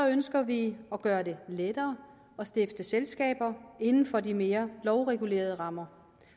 ønsker vi at gøre det lettere at stifte selskaber inden for de mere lovregulerede rammer